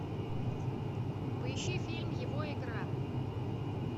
поищи фильм его игра